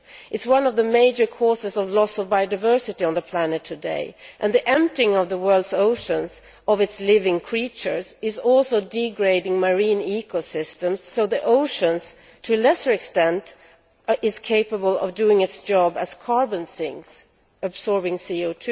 It is one of the major causes of loss of biodiversity on the planet today, and the emptying of the world's oceans of its living creatures is also degrading marine ecosystems so the oceans to a lesser extent are capable of doing their job as carbon sinks absorbing CO